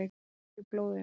Það er í blóðinu.